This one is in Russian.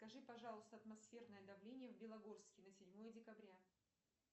скажи пожалуйста атмосферное давление в белогорске на седьмое декабря